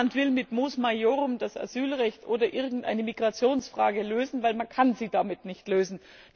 Niemand will mit Mos Maiorum das Asylrecht oder irgendeine Migrationsfrage lösen, denn man kann sie damit nicht lösen.